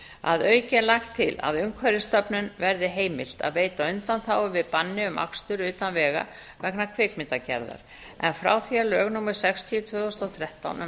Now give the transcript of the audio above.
að auki er lagt til að umhverfisstofnun verði heimilt að veita undanþágu við banni um akstur utan vega vegna kvikmyndagerðar frá því að lög númer sextíu tvö þúsund og þrettán um